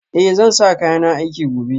Eh zan sa kayana aiki gobe